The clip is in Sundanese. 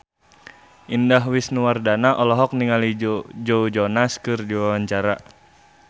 Indah Wisnuwardana olohok ningali Joe Jonas keur diwawancara